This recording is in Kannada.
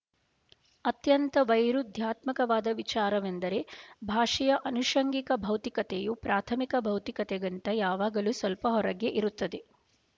ಅತ್ಯಂತ ವೈರುಧ್ಯಾತ್ಮಕವಾದ ವಿಚಾರವೆಂದರೆ ಭಾಷೆಯ ಆನುಶಂಗಿಕ ಭೌತಿಕತೆಯೂ ಪ್ರಾಥಮಿಕ ಭೌತಿಕತೆಗಿಂತ ಯಾವಾಗಲೂ ಸ್ವಲ್ಪ ಹೊರಗೇ ಇರುತ್ತದೆ